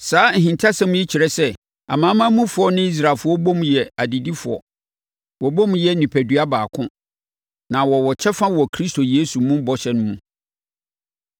Saa ahintasɛm yi kyerɛ sɛ amanamanmufoɔ ne Israelfoɔ bom yɛ adedifoɔ, wɔbom yɛ onipadua baako, na wɔwɔ kyɛfa wɔ Kristo Yesu mu bɔhyɛ no mu.